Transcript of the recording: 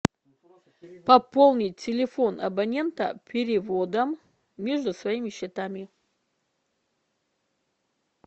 пополнить телефон абонента переводом между своими счетами